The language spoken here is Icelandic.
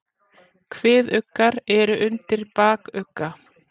Kviðuggar eru undir bakugga.